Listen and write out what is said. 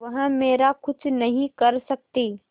वह मेरा कुछ नहीं कर सकती